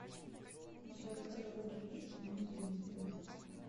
у тебя в каталоге есть внутренний демон